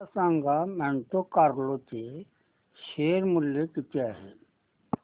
मला सांगा Monte Carlo चे शेअर मूल्य किती आहे